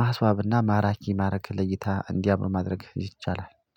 ማስዋብና ማራኪ ማረግ ለእይታ እንዲያምኑ ማድረግ ይቻላል